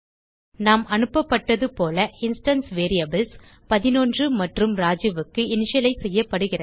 நாம் அனுப்பப்பட்டதுபோல instance variables 11 மற்றும் Rajuக்கு இனிஷியலைஸ் செய்யப்படுகிறது